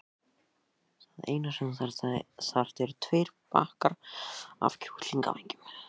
Það eina sem þú þarft eru tveir bakkar af kjúklingavængjum.